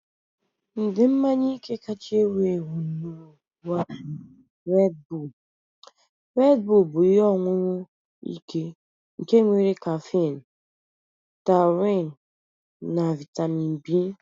Ụdị mmanya ike kacha ewu ewu n'ụwa bụ Red Bull. Red Bull bụ ihe ọṅụṅụ ike nke nwere kaffine, taurine, na vitami B